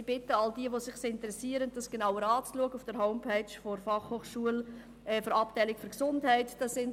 Ich bitte all jene, die sich dafür interessieren, sich das Ganze auf der Website der Abteilung Gesundheit der BFH anzuschauen.